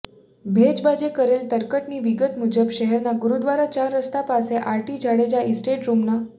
ભેજબાજે કરેલ તરકટની વિગત મુજબ શહેરના ગુરુદ્વારા ચાર રસ્તા પાસે આરટી જાડેજા એસ્ટેટમાં રૂમ નં